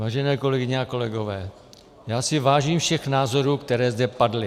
Vážené kolegyně a kolegové, já si vážím všech názorů, které zde padly.